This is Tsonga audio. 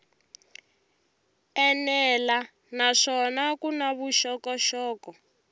enela naswona ku na vuxokoxoko